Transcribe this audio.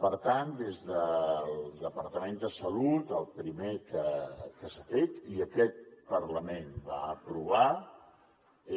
per tant des del departament de salut el primer que s’ha fet i aquest parlament va aprovar